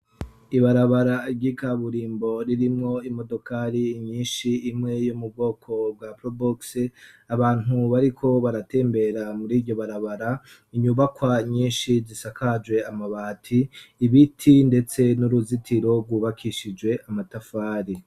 Ibarabara rgigaburimbo ririmwo imodokali inyinshi imwe yo mu bwoko bwa prubuke abantu bariko baratembera muri ryo barabara inyubakwa nyinshi zisakaje amabati ibiti, ndetse n'uruzitiro rwubakishijwe amatafari.